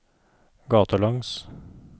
gatelangs